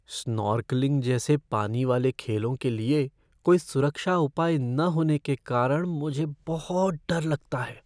Snorkelling जैसे पानी वाले खेलों के लिए कोई सुरक्षा उपाय न होने के कारण मुझे बहुत डर लगता है।